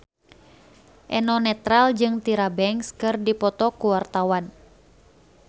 Eno Netral jeung Tyra Banks keur dipoto ku wartawan